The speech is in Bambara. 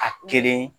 A kelen